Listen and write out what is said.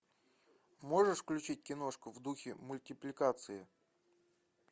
можешь включить киношку в духе мультипликации